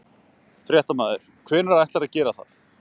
Fréttamaður: Hvenær ætlarðu að gera það?